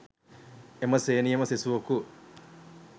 එම ශ්‍රේණියේම සිසුවකු